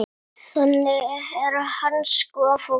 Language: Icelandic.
Þannig er hans góða fólk.